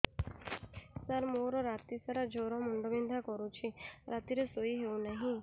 ସାର ମୋର ରାତି ସାରା ଜ୍ଵର ମୁଣ୍ଡ ବିନ୍ଧା କରୁଛି ରାତିରେ ଶୋଇ ହେଉ ନାହିଁ